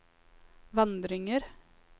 vandringer